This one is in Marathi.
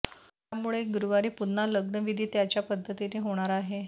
त्यामुळे गुरुवारी पुन्हा लग्नविधी त्याच्या पद्धतीनं होणार आहे